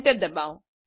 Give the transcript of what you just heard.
enter દબાઓ